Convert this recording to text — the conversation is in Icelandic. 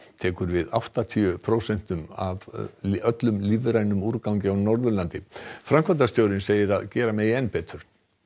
tekur við áttatíu prósentum af öllum lífrænum úrgangi á Norðurlandi framkvæmdastjórinn segir að gera megi enn betur